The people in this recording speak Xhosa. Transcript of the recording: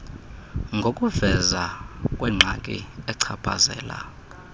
ngokuvezwa kwengxaki echaphazela